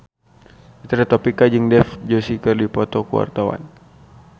Fitri Tropika jeung Dev Joshi keur dipoto ku wartawan